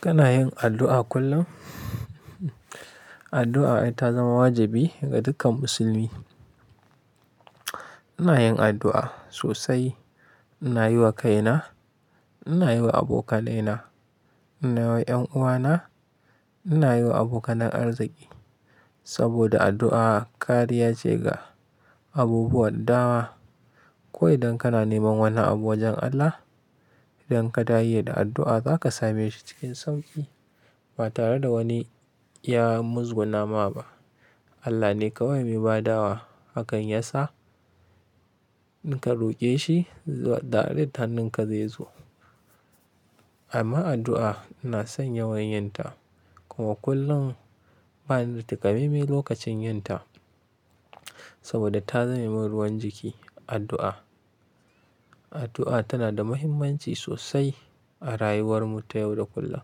Kana yin addu'a kullum? Addu'a ita zama wajibi ga dukkan musulmi. Ina yin addu'a sosai, ina yi wa kaina, ina yi wa abokanaina, ina yi wa 'yan uwana, ina yi wa abokanin arziki. Saboda addu'a kariya ce ga abubuwa dawa. Ko idan kana neman wani abu wajen Allah, idan ka yi da addu'a zaka same shi cikin sauƙi ba tare da wani ya muzgunama ba. Allah ne kawai mai bada wa. Hakan ya sa in ka roƙe shi, da dare hannunka zai zo. Amma addu'a ina son yawan yin ta kuma kullum bani da takamaime lokacin yin ta saboda ta zame ruwan jiki addu'a. Addu'a tana da muhimmanci sosai a rayuwar mu ta yau da kullum.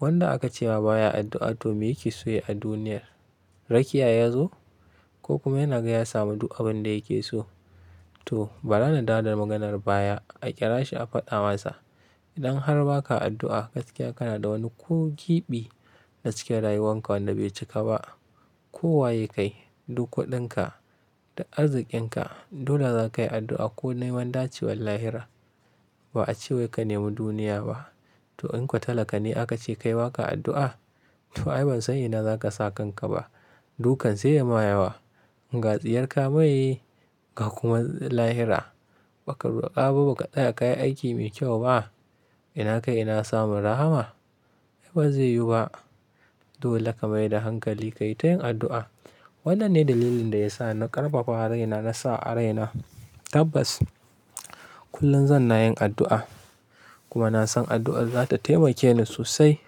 Wanda aka ce wa baya addu'a domin yake so ya duniyar rakiya yazo ko kuma yana gaya ya samu duk abin da yake so. To bana da dadin maganar baya a ƙira shi a faɗa masa. Idan har ba ka addu'a gaskiya kana da wani ko gwiɓi na cike rayuwanka wanda bai cika ba, ko waye kai duk kuɗinka da arzikinka dole za ka yi addu'a ko dai wanda ciwallahira. Ba a cewa ka nemi duniya ba. To in ka talaka ne aka ce kai wa ka addu'a? To ai ban sani ina za ka sa kanka ba. Dukan sai ya ma yawa. Ga tsiyarka meye ka kuma lahira ba ka roƙa ba ba ka tsaya ka yi aiki mai kyau ba. Ina kai ina samun rahama? Ai bazai yu ba. Dole ka mai da hankali ka yi ta yin addu'a. Wannan ne dalilin da ya sa na ƙarfafa raina na sa a raina tabbas kullum zan na yin addu'a kuma na san addu'a za ta taimake ni sosai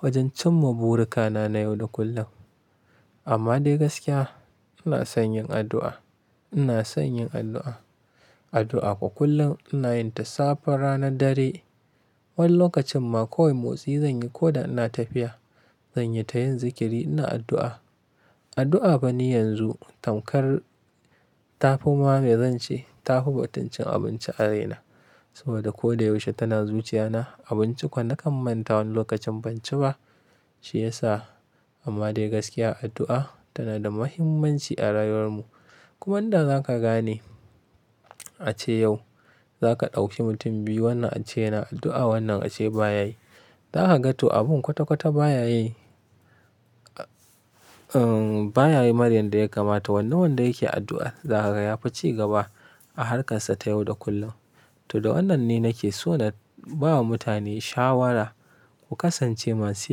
wajen cimma burikana na yau da kullum. Amma dai gaskiya ina son yin addu'a, ina son yin addu'a. Addu'a kuwa kullum ina yin ta safar rana dare. Wani lokacin ma koyi motsi zan yi ko da ina tafiya zan yi ta yin zikiri ina addu'a. Addu'a ba ni yanzu tamkar ta fi ma me zanci ta fi batincin abinci a raina saboda ko da yaushe tana zuciya na. Abinci kuwa na kammanta wani lokacin ban ci ba. Shi ya sa amma dai gaskiya addu'a tana da muhimmanci a rayuwar mu. Kuma inda za ka gane a ce yau za ka ɗauki mutum biyu wanda a ce yana addu'a wannan a ce baya yi. Za ka ga to abun kwata-kwata baya yi, baya yi maryand da ya kamata. Wanda wanda yake addu'a za ka ga ya fi cigaba a harkarsa ta yau da kullum. To da wannan ni nake so da ba wa mutane shawara ku kasance masu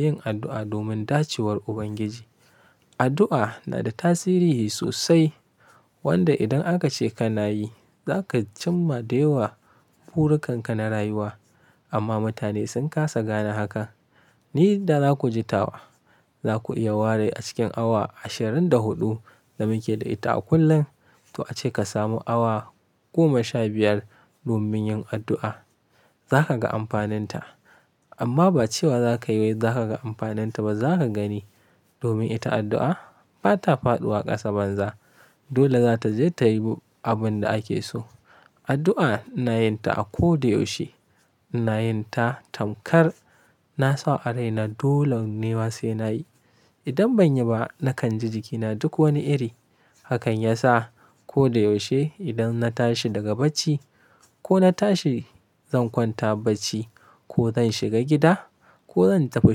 yin addu'a domin dacawar Ubangiji. Addu'a na da tasiri sosai wanda idan aka ce kana yi za ka cimma da yawa burukan ka na rayuwa. Amma mutane sun kasa gane haka. Ni da za ku ji ta wa za ku iya ware a cikin awa ashirin da huɗu da muke da ita a kullum. To ace ka samu awa goma sha biyar domin yin addu'a za ka ga amfanin ta. Amma ba cewa za ka yi wai za ka ga amfanin ta ba za ka gani domin ita addu'a ba ta faɗuwa ƙasa banza. Dole za ta je ta yi abin da ake so. Addu'a ina yin ta a ko da yaushe. Ina yin ta tamkar na sa a raina. Dole ne wasu ina yi. Idan ban yi ba nakan ji jikina duk wani iri. Hakan ya sa ko da yaushe idan na tashi daga bacci ko na tashi zan kwanta bacci ko zan shiga gida ko zan tafi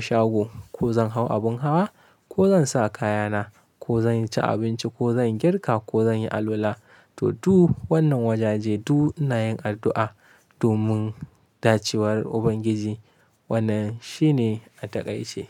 shago ko zan hau abin hawa ko zan sa kayana ko zan ci abinci ko zan girka ko zan yi alwala. To duk wannan wajaje duk ina yin addu'a domin dacawar Ubangiji wannan shi ne a taƙaice.